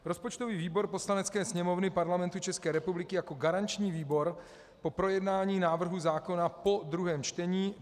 Rozpočtový výbor Poslanecké sněmovny Parlamentu České republiky jako garanční výbor po projednání návrhu zákona po druhém čtení: